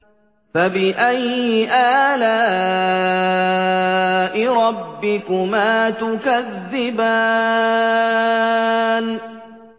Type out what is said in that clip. فَبِأَيِّ آلَاءِ رَبِّكُمَا تُكَذِّبَانِ